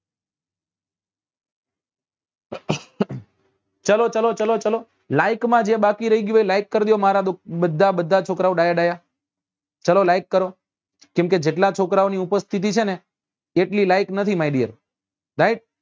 ચાલો ચાલો ચાલો ચાલો like માં જે બાકી રહી ગયું હોય એ like કરજો મારા બધા બધા છોકરા ઓ ડાયા ડાયા ચાલો like કરો કેમ કે જેટલા છોકરાઓ ની ઉપસ્થિતિ છે ને એટલી like નથી right